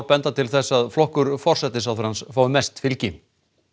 benda til þess að flokkur forsætisráðherra fái mest fylgi